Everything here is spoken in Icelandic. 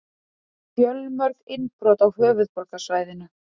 Fjölmörg innbrot á höfuðborgarsvæðinu